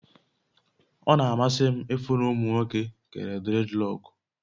O n'amasi m ifụ na ụmụ nwoke kere dredlọkụ